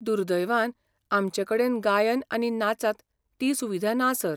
दुर्दैवान, आमचेकडेन गायन आनी नाचांत ती सुविधा ना, सर.